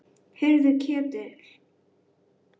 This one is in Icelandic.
Heyrðu Ketill.